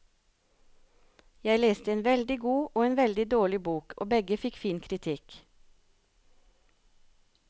Jeg leste en veldig god og en veldig dårlig bok, og begge fikk fin kritikk.